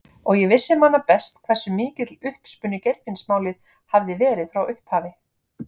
Og ég vissi manna best hversu mikill uppspuni Geirfinnsmálið hafði verið frá upphafi.